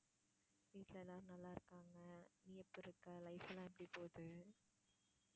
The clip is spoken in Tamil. வீட்ல எல்லாரும் நல்ல இருக்காங்க நீ எப்பிடி இருக்க life எல்லாம் எப்பிடி போகுது